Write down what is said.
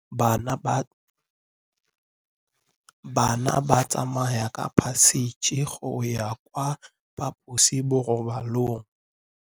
Bana ba tsamaya ka phašitshe go ya kwa phaposiborobalong.